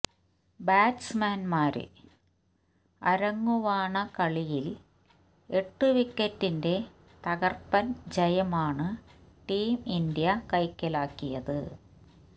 ബാറ്റ്സ്മാന്മാര് അരങ്ങുവാണ കളിയില് എട്ടു വിക്കറ്റിന്റെ തകര്പ്പന് ജയമാണ് ടീം ഇന്ത്യ കൈക്കലാക്കിയത്